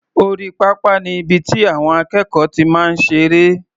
Orí pápá ni ibi tí àwọn akẹ́kọ̀ọ́ ti máa ń ṣeré.